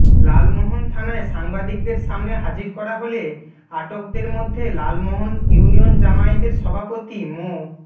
লালমোহন থানায় সাংবাদিকদের সামনে হাজির করা হলে আটকদের মধ্যে লালমোহন ইউনিয়ন জামায়াতের সভাপতি মো